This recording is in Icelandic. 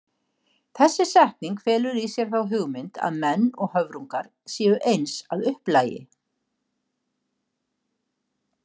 Þessi setning felur í sér þá hugmynd að menn og höfrungar séu eins að upplagi.